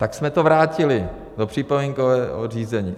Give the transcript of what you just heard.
Tak jsme to vrátili do připomínkového řízení.